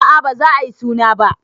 Aa baza ayi suna ba